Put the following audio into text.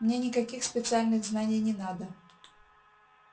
мне никаких специальных знаний не надо